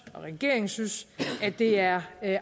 og regeringen synes at det er